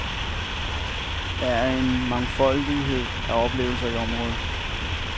Der er en mangfoldighed af oplevelser i området.